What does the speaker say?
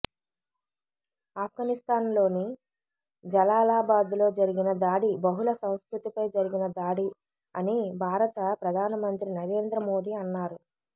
ఆఫ్ఘనిస్తాన్లోని జలాలాబాద్లో జరిగిన దాడి బహుళ సంస్కృతిపై జరిగిన దాడి అని భారత ప్రధానమంత్రి నరేంద్ర మోదీ అన్నారు